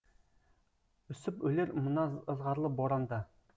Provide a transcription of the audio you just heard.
үсіп өлер мына ызғарлы боранда